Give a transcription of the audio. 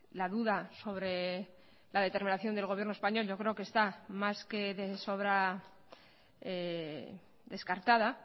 la duda sobre la determinación del gobierno español yo creo que está más que de sobra descartada